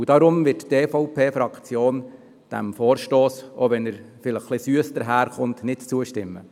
Deshalb wird die EVP-Fraktion diesem Vorstoss, auch wenn dieser süss daher kommt, nicht zustimmen.